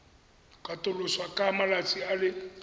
katoloswa ka malatsi a le